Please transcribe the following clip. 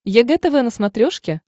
егэ тв на смотрешке